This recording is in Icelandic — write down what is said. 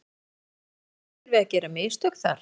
En verða okkar menn óhræddir við að gera mistök þar?